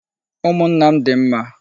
Umụnna m dị mma.